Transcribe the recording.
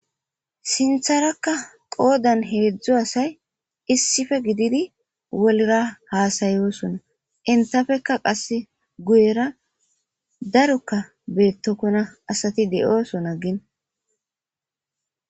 sintharakka qoodan heedzdzo asay issife gididi wolra haasayooson intafekka qass guyera darokka beettokkona asati de7ooson aggin